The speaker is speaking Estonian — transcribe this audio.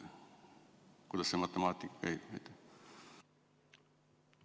Kuidas see matemaatika nüüd käib?